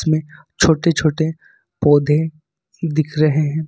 में छोटे छोटे पौधे दिख रहे हैं।